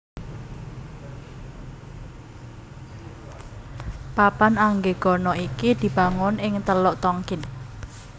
Papan Anggegana iki dibangun ing Teluk Tonkin